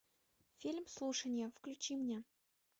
фильм слушание включи мне